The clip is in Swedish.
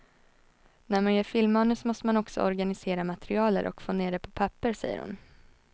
När man gör filmmanus måste man också organisera materialet och få ned det på papper, säger hon.